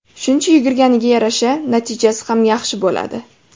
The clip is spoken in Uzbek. Shuncha yugurganiga yarasha, natijasi ham yaxshi bo‘ladi.